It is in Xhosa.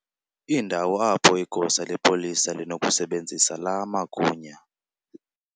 indawo apho igosa lepolisa linokusebenzisa laa magunya